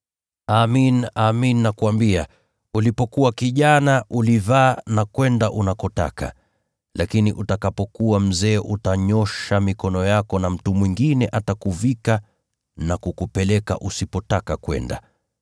Amin, amin nakuambia, ulipokuwa kijana ulivaa na kwenda unakotaka, lakini utakapokuwa mzee utanyoosha mikono yako na mtu mwingine atakuvika na kukupeleka usipotaka kwenda.”